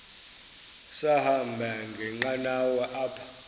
sahamba ngenqanawa apha